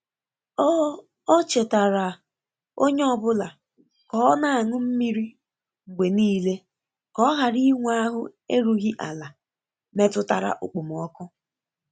O O chetaara onye ọ bụla ka ọ na-aṅụ mmiri mgbe nile ka ọ ghara inwe ahụ erughị ala metụtara okpomọkụ.